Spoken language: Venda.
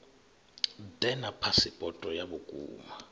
ḓe na phasipoto ya vhukuma